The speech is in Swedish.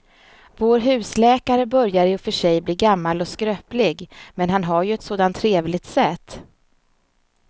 Vår husläkare börjar i och för sig bli gammal och skröplig, men han har ju ett sådant trevligt sätt!